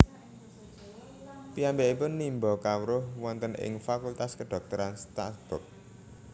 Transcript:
Piyambakipun nimba kawruh wonten ing Fakultas Kedhokteran Strasbourg